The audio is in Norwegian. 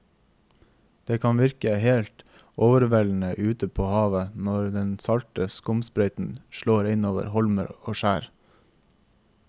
Det kan virke helt overveldende ute ved havet når den salte skumsprøyten slår innover holmer og skjær.